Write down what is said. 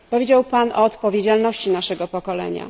Powiedział Pan o odpowiedzialności naszego pokolenia.